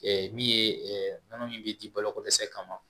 min ye nɔnɔ min bi di baloko dɛsɛ kama